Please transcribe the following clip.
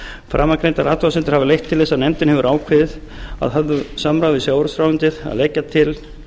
framangreindar athugasemdir hafa leitt til þess að nefndin hefur ákveðið að höfðu samráði við sjávarútvegsráðuneytið að leggja til